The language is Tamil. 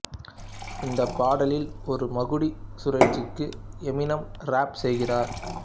இந்த பாடலில் ஒரு மகுடி சுழற்சிக்கு எமினெம் ராப் செய்கிறார்